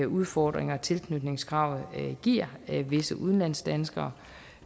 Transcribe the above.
udfordringer tilknytningskravet giver visse udlandsdanskere